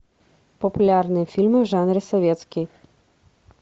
популярные фильмы в жанре советский